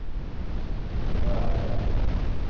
Bærum